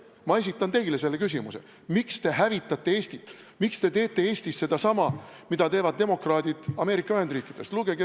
Ma esitan teile selle küsimuse: miks te hävitate Eestit, miks te teete Eestis sedasama, mida teevad demokraadid Ameerika Ühendriikides?